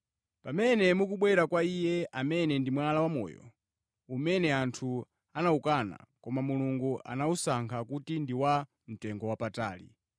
Pamene mukubwera kwa Iye, amene ndi Mwala wa moyo, umene anthu anawukana, koma Mulungu anawusankha kuti ndi wa mtengowapatali,